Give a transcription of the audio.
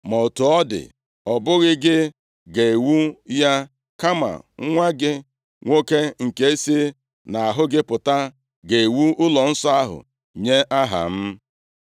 Ma otu ọ dị, ọ bụghị gị ga-ewu ya, kama nwa gị nwoke nke si nʼahụ gị pụta ga-ewu ụlọnsọ ahụ nye Aha m.’